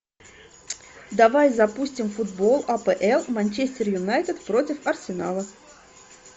давай запустим футбол апл манчестер юнайтед против арсенала